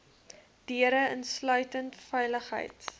deure insluitend veiligheids